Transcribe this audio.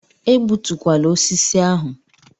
Egbutukwala osisi ahụ!